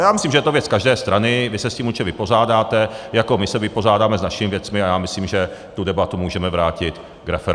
A já myslím, že je to věc každé strany, vy se s tím určitě vypořádáte, jako my se vypořádáme s našimi věcmi, a já myslím, že tu debatu můžeme vrátit k referendu.